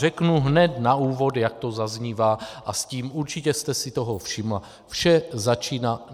Řeknu hned na úvod, jak to zaznívá, a s tím - určitě jste si toho všimla - vše začíná.